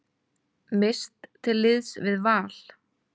Mist til liðs við Val